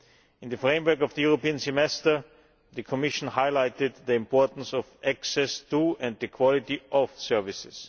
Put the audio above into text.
In the framework of the European Semester the Commission highlighted the importance of access to and the quality of services.